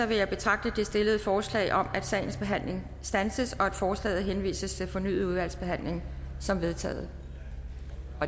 vil jeg betragte det stillede forslag om at sagens behandling standses og at forslaget henvises til fornyet udvalgsbehandling som vedtaget